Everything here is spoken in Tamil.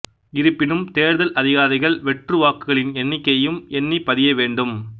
இருப்பினும் தேர்தல் அதிகாரிகள் வெற்று வாக்குகளின் எண்ணிக்கையையும் எண்ணி பதிய வேண்டும்